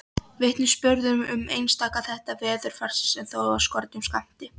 Vitnisburður um einstaka þætti veðurfarsins er þó af skornum skammti.